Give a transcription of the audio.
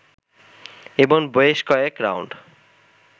এবং বেশ কয়েক রাউন্ড